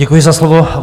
Děkuji za slovo.